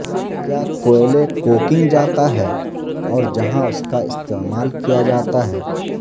کیا کوئلے کوکنگ جاتا ہے اور جہاں اس کا استعمال کیا جاتا ہے